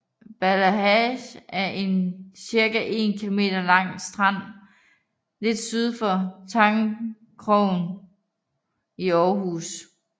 Ballehage er en cirka 1 km lang strand lidt syd for Tangkrogen i Aarhus